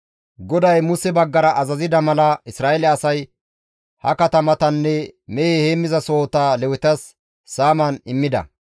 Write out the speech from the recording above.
GODAY Muse baggara azazida mala, Isra7eele asay ha katamatanne mehe heenththasohota Lewetas saaman immida.